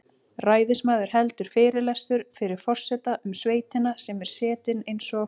Ræðismaður heldur fyrirlestur fyrir forseta um sveitina sem er setin eins og